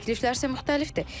Təkliflər isə müxtəlifdir.